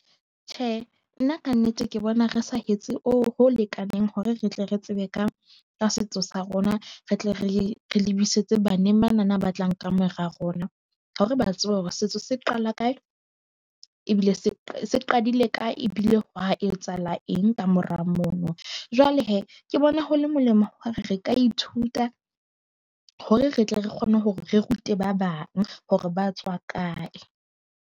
Tjhe, nna ka nnete ke bona re sa hetse, o ho lekaneng hore re tle re tsebe ka ka setso sa rona. Re tle re re le busetse baneng bana ba tlang ka mora rona. Hore ba tsebe hore setso se qala kae ebile se se qadile kae ebile ha etsahala eng ka mora mono. Jwale he, ke bona ho le molemo hore re ka ithuta hore re tle re kgone hore re rute ba bang hore ba tswa kae.